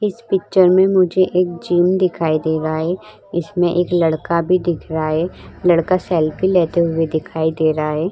इस पिक्चर में मुझे एक जिम दिखाई दे रहा है इसमें एक लड़का भी दिख रहा है लड़का सेल्फी लेते हुए दिखाई दे रहा है ।